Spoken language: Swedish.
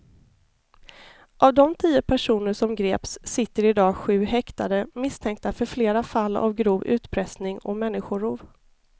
Av de tio personer som greps sitter i dag sju häktade misstänkta för flera fall av grov utpressning och människorov.